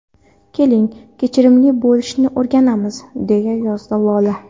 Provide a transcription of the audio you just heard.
Keling, kechirimli bo‘lishni o‘rganamiz...” – deya yozdi Lola.